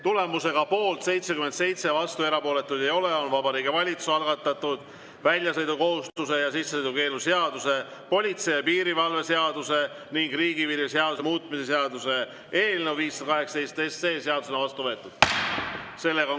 Tulemusega poolt 77, vastuolijaid ja erapooletuid ei ole, on Vabariigi Valitsuse algatatud väljasõidukohustuse ja sissesõidukeelu seaduse, politsei ja piirivalve seaduse ning riigipiiri seaduse muutmise seaduse eelnõu 518 seadusena vastu võetud.